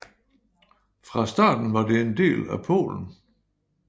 Fra starten var det en del af Polen